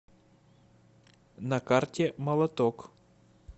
на карте молоток